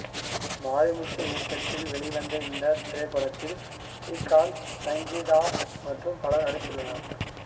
மாரிமுத்து இயக்கத்தில் வெளிவந்த இத்திரைப்படத்தில் ஸ்ரீகாந்த் சங்கீதா மற்றும் பலரும் நடித்துள்ளனர்